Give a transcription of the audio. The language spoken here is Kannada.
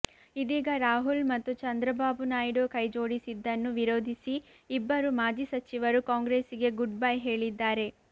ಇದೀಗ ರಾಹುಲ್ ಮತ್ತು ಚಂದ್ರಬಾಬು ನಾಯ್ಡು ಕೈಜೋಡಿಸಿದ್ದನ್ನು ವಿರೋಧಿಸಿ ಇಬ್ಬರು ಮಾಜಿ ಸಚಿವರು ಕಾಂಗ್ರೆಸ್ಸಿಗೆ ಗುಡ್ ಬೈ ಹೇಳಿದ್ದಾರೆ